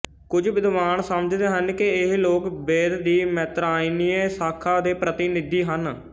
ਕੁੱਝ ਵਿਦਵਾਨ ਸਮਝਦੇ ਹਨ ਕਿ ਇਹ ਲੋਕ ਵੇਦ ਦੀ ਮੈਤਰਾਇਣੀਏ ਸ਼ਾਖਾ ਦੇ ਪ੍ਰਤਿਨਿੱਧੀ ਹਨ